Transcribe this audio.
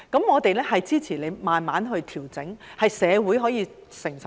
我們支持慢慢調整，令社會能夠承受。